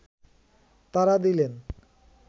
তারা দিলেন